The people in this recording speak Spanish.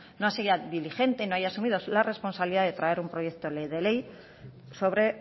no sea diligente no haya asumido la responsabilidad de traer un proyecto de ley sobre